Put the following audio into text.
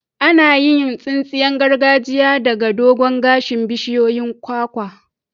Ana yin tsinsiyan gargajiya daga dogon gashin bishiyoyin kwakwa.